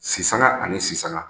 Sisanga ani sisanga